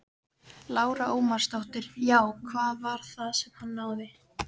Lára Ómarsdóttir: Já, hvað var það sem að hann náði?